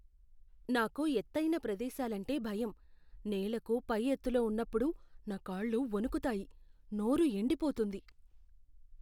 నాకు ఎత్తైన ప్రదేశాలంటే భయం. నేలకు పై ఎత్తులో ఉన్నప్పుడు నా కాళ్ళు వణుకుతాయి, నోరు ఎండిపోతుంది.